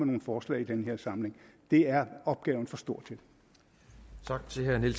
nogle forslag i den her samling det er opgaven for stor